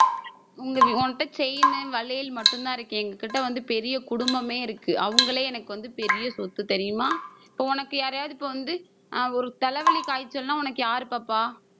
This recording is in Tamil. உங்க உன்கிட்ட chain வளையல், மட்டும்தான் இருக்கு. எங்ககிட்ட வந்து பெரிய குடும்பமே இருக்கு. அவங்களே எனக்கு வந்து பெரிய சொத்து தெரியுமா இப்ப உனக்கு யாரையாவது இப்ப வந்து ஆஹ் ஒரு தலைவலி, காய்ச்சல்னா உனக்கு யாரு பாப்பா?